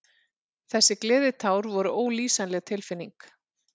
Þessi gleðitár voru ólýsanleg tilfinning.